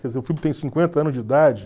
Quer dizer, o filme tem cinquenta anos de idade.